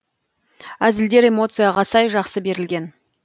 әзілдер эмоцияға сай жақсы берілген